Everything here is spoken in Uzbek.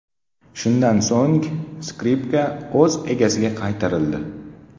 Shundan so‘ng, skripka o‘z egasiga qaytarildi.